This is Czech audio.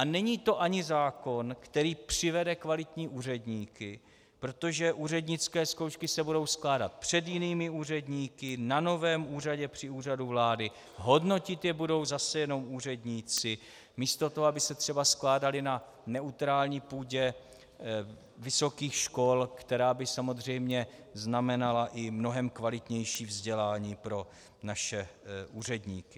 A není to ani zákon, který přivede kvalitní úředníky, protože úřednické zkoušky se budou skládat před jinými úředníky, na novém úřadě při Úřadu vlády, hodnotit je budou zase jenom úředníci, místo toho, aby se třeba skládaly na neutrální půdě vysokých škol, která by samozřejmě znamenala i mnohem kvalitnější vzdělání pro naše úředníky.